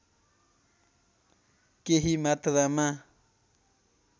केही मात्रामा